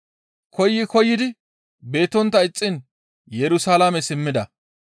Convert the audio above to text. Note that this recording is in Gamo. Koyi koyidi beettontta ixxiin Yerusalaame simmida.